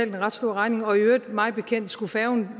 en ret stor regning og mig bekendt skulle færgen